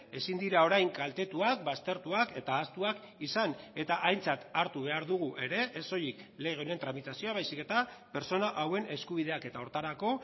ezin dira orain kaltetuak baztertuak eta ahaztuak izan eta aintzat hartu behar dugu ere ez soilik lege honen tramitazioa baizik eta pertsona hauen eskubideak eta horretarako